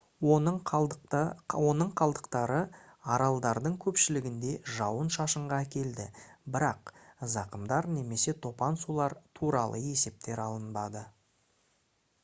оның қалдықтары аралдардың көпшілігінде жауын-шашынға әкелді бірақ зақымдар немесе топан сулар туралы есептер алынбады